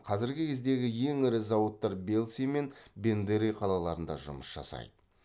қазіргі кездегі ең ірі зауыттар бельцы мен бендеры қалаларында жұмыс жасайды